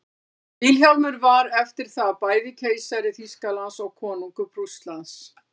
vilhjálmur var eftir það bæði keisari þýskalands og konungur prússlands